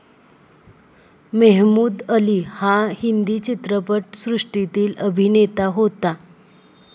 मेहमूद अली हा हिंदी चित्रपटसृष्टीतील अभिनेता होता.